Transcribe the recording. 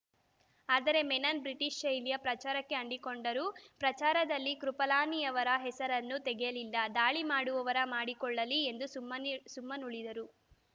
ಆದರೆ ಮೆನನ್‌ ಬ್ರಿಟಿಷ್‌ ಶೈಲಿಯ ಪ್ರಚಾರಕ್ಕೆ ಅಂಟಿಕೊಂಡರು ಪ್ರಚಾರದಲ್ಲಿ ಕೃಪಲಾನಿಯವರ ಹೆಸರನ್ನೂ ತೆಗೆಯಲಿಲ್ಲ ದಾಳಿಮಾಡುವವರು ಮಾಡಿಕೊಳ್ಳಲಿ ಎಂದು ಸುಮ್ಮನಿ ಸುಮ್ಮನುಳಿದರು